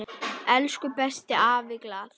Elsku besti afi Glað.